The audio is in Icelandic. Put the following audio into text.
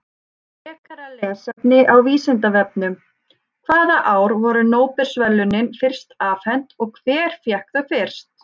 Frekara lesefni á Vísindavefnum: Hvaða ár voru Nóbelsverðlaunin fyrst afhent og hver fékk þau fyrst?